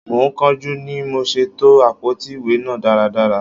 Mo ń kánjú ni mò ṣe to àpótí ìwé náà dáradára.